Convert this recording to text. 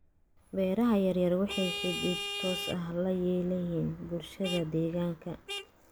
Beeraha yaryar waxay xidhiidh toos ah la leeyihiin bulshada deegaanka.